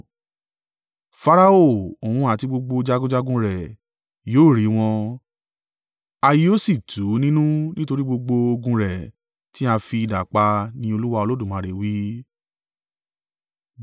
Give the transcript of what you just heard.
“Farao, òun àti gbogbo jagunjagun rẹ̀ yóò rí wọn, a yóò sì tù ú nínú nítorí gbogbo ogun rẹ̀ tí a fi idà pa, ní Olúwa Olódùmarè wí.